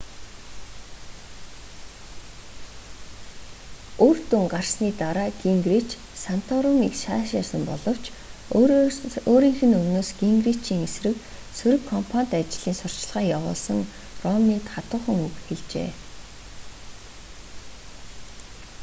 үр дүн гарсны дараа гингрич санторумыг сайшаасан боловч өөрийнх нь өмнөөс гингричийн эсрэг сөрөг кампанит ажлын сурталчилгаа явуулсан ромнид хатуухан үг хэлжээ